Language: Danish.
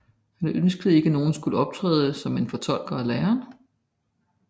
Han ønskede ikke nogen skulle optræde som en fortolker af læren